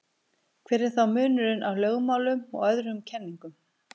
hver er þá munurinn á lögmálum og öðrum kenningum